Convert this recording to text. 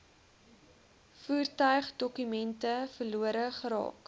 voertuigdokumente verlore geraak